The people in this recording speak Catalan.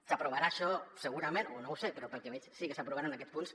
s’aprovarà això segurament o no ho sé però pel que veig sí que s’aprovaran aquests punts